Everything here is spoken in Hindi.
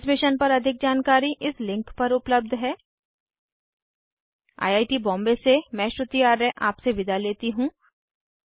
इस मिशन पर अधिक जानकारी इस लिंक पर उपलब्ध है 1 आई आई टी बॉम्बे से मैं श्रुति आर्य आपसे विदा लेती हूँ